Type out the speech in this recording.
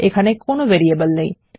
এখানে কোনো ভেরিয়েবল নেই